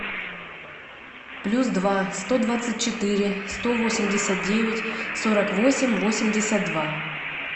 плюс два сто двадцать четыре сто восемьдесят девять сорок восемь восемьдесят два